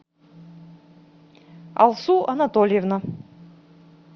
алсу анатольевна